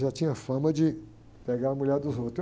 Já tinha fama de pegar a mulher dos outros.